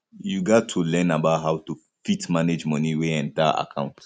you gat to learn about how to fit manage money wey enter account